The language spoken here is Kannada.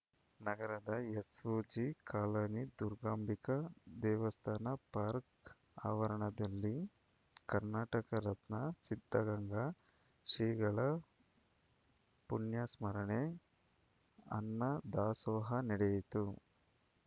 ನಗರದ ಎಸ್‌ಓಜಿ ಕಾಲನಿ ದುರ್ಗಾಂಬಿಕಾ ದೇವಸ್ಥಾನ ಪಾರ್ಕ್ ಆವರಣದಲ್ಲಿ ಕರ್ನಾಟಕ ರತ್ನ ಸಿದ್ಧಗಂಗಾ ಶ್ರೀಗಳ ಪುಣ್ಯಸ್ಮರಣೆ ಅನ್ನ ದಾಸೋಹ ನಡೆಯಿತು